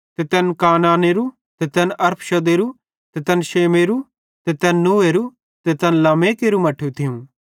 ते तैन केनानेरू ते तैन अरफक्षदेरो ते तैन शेमेरो ते तैन नूहेरो ते तैन लेमेकेरू मट्ठू थियूं